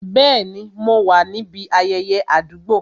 Bẹẹni, mo wá níbi ayẹyẹ àdúgbò